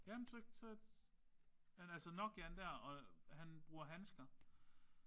Jamen så så men altså Nokiaen der og han bruger handsker